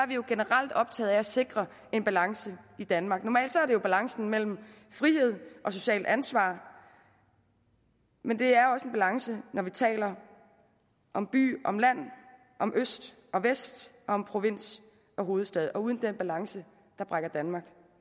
vi jo generelt optaget af at sikre en balance i danmark normalt er det jo balancen mellem frihed og socialt ansvar men det er også en balance når vi taler om by om land om øst og vest om provins og hovedstad og uden den balance brækker danmark